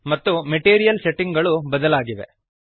ಮತ್ತೆ material setting ಗಳು ಬದಲಾಗಿವೆ